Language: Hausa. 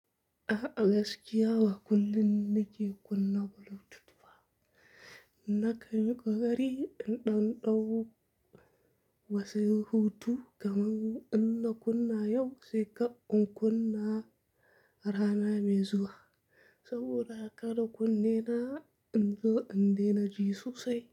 A gaskiya, ba kullum nake kunna Bluetooth ba. Nakan yi ƙoƙari in ɗanɗau wasu hutu, kamar in na kunna yau sai kar in kunna rana mai zuwa. Sabida kada kunne na in zo in daina ji sosai.